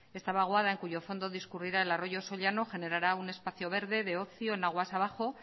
esta vaguada en cuyo fondo discurrirá el arroyo sollano generará un espacio verde de ocio en aguas de abajo